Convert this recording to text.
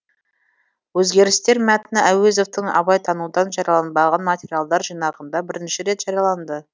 өзгерістер мәтіні әуезовтің абайтанудан жарияланбаған материалдар жинағында бірінші рет жарияланды